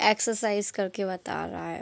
Exercise करके बता रहा है।